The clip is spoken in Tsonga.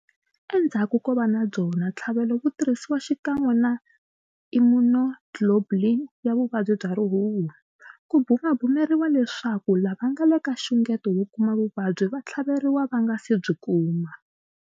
Endzhaku ko va na byona ntlhavelo wu tirhisiwa xikan'we na immunoglobulin ya vuvabyi bya rihuhu. Ku bumabumeriwa leswaku lava nga le ka xungeto wo kuma vuvabyi va tlhaveriwa va nga se byi kuma.